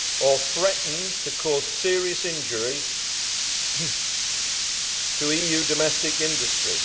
or threatens to cause serious injury to EU domestic industry.